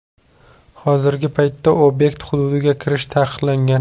Hozirgi paytda obyekt hududiga kirish taqiqlangan.